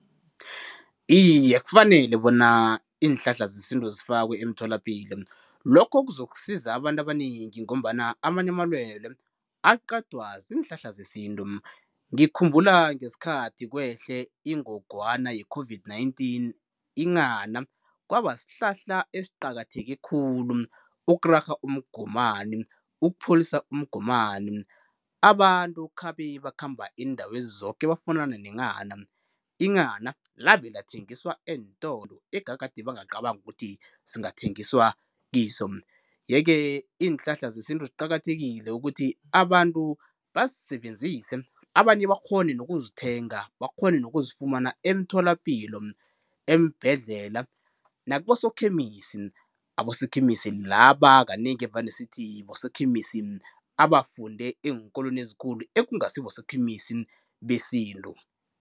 Iye kufanele bona iinhlahla zesintu zifakwe emtholapilo, lokho kuzokusiza abantu abanengi ngombana amanye amalwelwe aqedwa ziinhlanhla zesintu. Ngikhumbula ngesikhathi kwehle ingogwana ye-COVID-19, inghana kwaba sihlahla esiqakatheke khulu ukurarha umgomani, ukupholisa umgomani. Abantu khabe bakhamba iindawezi zoke bafunana nenghana. Inghana labe lathengiswa eentolo egade bangaqabangi ukuthi singathengiswa kiso. Ye ke iinhlahla zesintu ziqakathekile ukuthi abantu bazisebenzise abanye bakghone nokuzithenga bakghone nokuzifumana emtholapilo, eembhedlela nakibosokhemisi, abosokhemisi laba kanengi evane sithi bosokhemisi abafunde eenkolweni ezikhulu ekungasi bosokhemisi besintu.